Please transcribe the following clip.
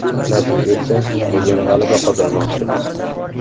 Nasib etsa, bugun g‘alaba qozonmoqchimiz.